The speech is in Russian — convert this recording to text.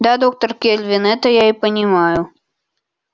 да доктор кэлвин это я и понимаю